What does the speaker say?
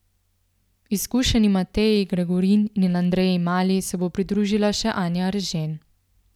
Izkušenima Teji Gregorin in Andreji Mali se bo pridružila še Anja Eržen.